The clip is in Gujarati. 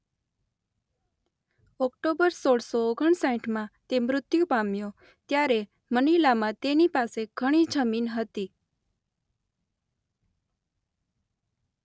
ઓક્ટોબર સોળસો ઓગણ સાઠમાં તે મૃત્યુ પામ્યો ત્યારે મનિલામાં તેની પાસે ઘણી જમીન હતી.